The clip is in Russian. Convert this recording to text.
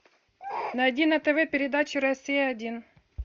найди на тв передачу россия один